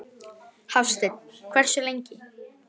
Hafsteinn: Hversu lengi?